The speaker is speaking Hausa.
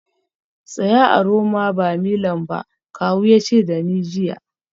Tsaya a Roma ba Milan ba kawu ya ce da ni jiya